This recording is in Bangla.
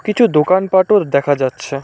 কিছু দোকানপাটও দেখা যাচ্ছে।